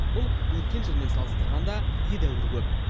бұл өткен жылмен салыстырғанда едәуір көп